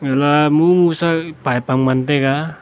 ela mungsa pipe tam ngan taiga.